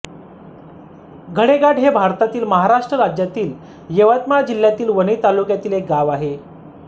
गडेघाट हे भारतातील महाराष्ट्र राज्यातील यवतमाळ जिल्ह्यातील वणी तालुक्यातील एक गाव आहे